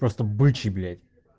просто бычий блять